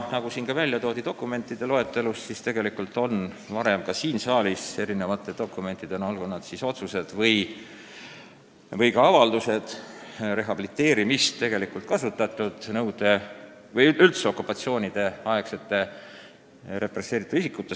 Nagu siin juba märgiti, tegelikult on ka varem siin saalis vastu võetud dokumentides, olgu need otsused või avaldused, rehabiliteerimist kasutatud, pidades silmas okupatsioonirižiimide poolt represseeritud isikuid.